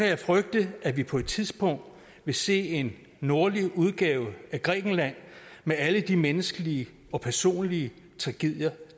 jeg frygte at vi på et tidspunkt vil se en nordlig udgave af grækenland med alle de menneskelige og personlige tragedier